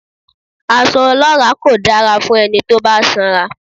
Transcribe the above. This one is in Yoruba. Aṣọ ọlọ́ràá kò dára fún ẹni tó bá sanra.